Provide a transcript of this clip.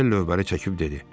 Manuel lövbəri çəkib dedi: